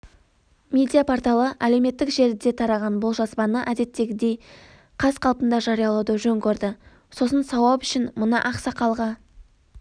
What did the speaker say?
медиа-порталы әлеуметтік желіде тараған бұл жазбаны әдеттегідей қаз-қалпында жариялауды жөн көрді сосын сауап үшін мына ақсақалға